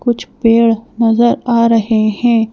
कुछ पेड़ नजर आ रहे हैं।